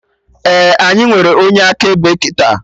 Ee, anyị nwere onye akaebe kịta